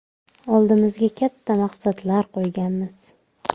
Oldimizga katta maqsadlar qo‘yganmiz.